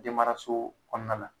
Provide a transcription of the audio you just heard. Denmaraso kɔnɔna na